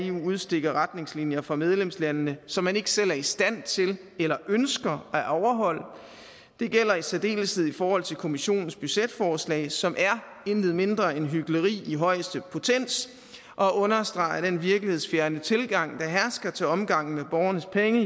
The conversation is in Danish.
eu udstikker retningslinjer for medlemslandene som man ikke selv er i stand til eller ønsker at overholde det gælder i særdeleshed i forhold til kommissionens budgetforslag som er intet mindre end hykleri i højeste potens og understreger den virkelighedsfjerne tilgang der hersker i til omgang med borgernes penge